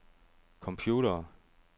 computere